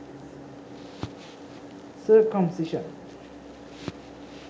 circumcision